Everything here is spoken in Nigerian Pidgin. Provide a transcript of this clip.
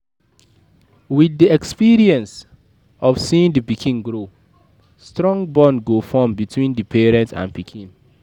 With do experience of seeing di pikin grow, strong bond go form between pikin and parents